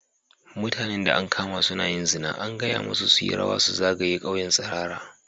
Mutanen da an kama suna yin zina, an gaya masu su yi rawa su zagaya ƙauyen tsirara.